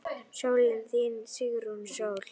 Sólin þín, Sigrún Sól.